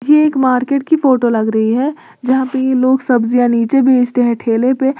ये एक मार्केट की फोटो लग रही है जहां पे ये लोग सब्जियां नीचे बेचते हैं ठेले पे।